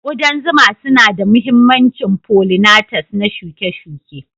Ƙudan zuma suna da mahimmancin follinatas na shuke-shuke.